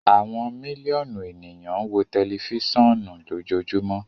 Awọn miliọnu eniyan n wo tẹlifisiọnu lojoojumọ